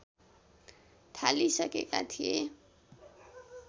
थालिसकेका थिए